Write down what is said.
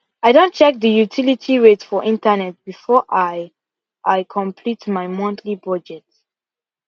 i Accepted check the utility rate for internet before i i complete my monthly budget